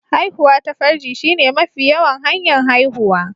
Haihuwa ta farji shine mafi yawan hanya'n haihuwa.